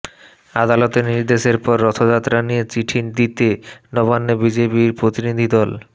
আদালতের নির্দেশের পর রথযাত্রা নিয়ে চিঠি দিতে নবান্নে বিজেপি প্রতিনিধি দল